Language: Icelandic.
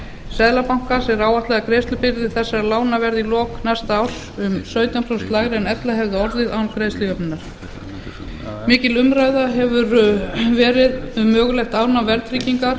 seðlabankans er áætlað að greiðslubyrði þessara lána verði í lok næsta árs um sautján prósent lægri en ella hefði orðið mikil umræða hefur verið um mögulegt afnám verðtryggingar